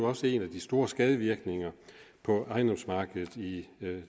også en af de store skadevirkninger på ejendomsmarkedet i